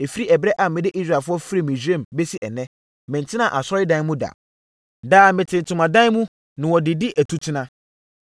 Ɛfiri ɛberɛ a mede Israelfoɔ firii Misraim bɛsi ɛnnɛ, mentenaa asɔredan mu da. Daa, mete ntomadan mu na wɔde di atutena.